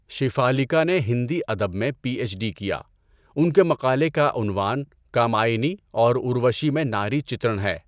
شیفالیکا نے ہندی ادب میں پی ایچ ڈی کیا۔ ان کے مقالے کا عنوان کامایانی اور اُروشی میں ناری چِتْرَن ہے۔